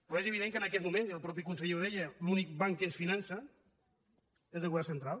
però és evident que en aquests moments i el mateix conseller ho deia l’únic banc que ens finança és el govern central